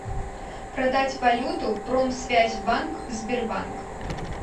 продать валюту промсвязьбанк сбербанк